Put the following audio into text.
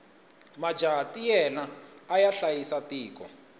majaha ntiyela aya hlayisa tiko